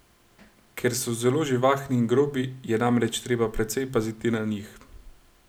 Ker so zelo živahni in grobi, je namreč treba precej paziti na njih.